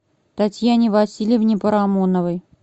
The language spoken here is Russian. татьяне васильевне парамоновой